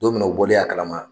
Don min na o bɔlen a kalama